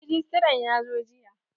Rejistran ya zo jiya.